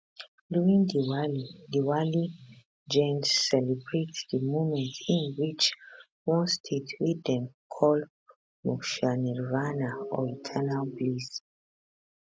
during diwali diwali jains celebrate di moment im reach one state wey dem call moksha nirvana or eternal bliss